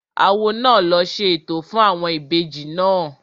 Awo náà ló ṣe ètò fún àwọn ìbejì náà